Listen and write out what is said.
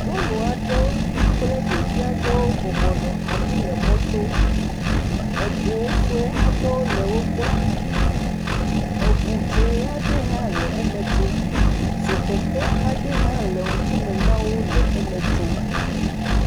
Nyɔnu aɖewo kple ɖevi aɖewo bɔbɔ nɔ anyi le mɔ to. Ego sue aɖewo le wogbɔ. eŋu dzẽ aɖe hã le eme tsom. Zokeke aɖe hã le ŋkume na wo le eme tsom.